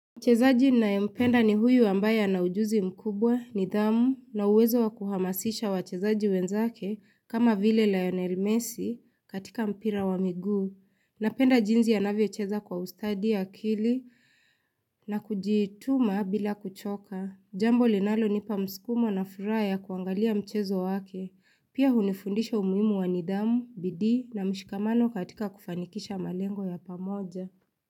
Mchezaji ninayempenda ni huyu ambaye na ujuzi mkubwa, nidhamu, na uwezo wa kuhamasisha wachezaji wenzake kama vile Lionel Messi katika mpira wa miguu. Napenda jinsi anavyocheza kwa ustadi, akili na kujituma bila kuchoka. Jambo linalonipa mskumo na furaha ya kuangalia mchezo wake, pia hunifundisha umuhimu wa nidhamu, bidii na mshikamano katika kufanikisha malengo ya pamoja.